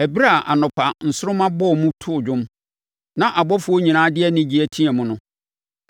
ɛberɛ a anɔpa nsoromma bɔɔ mu too dwom, na abɔfoɔ nyinaa de anigyeɛ teaam no?